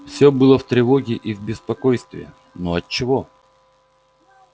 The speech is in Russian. всё было в тревоге и в беспокойстве но отчего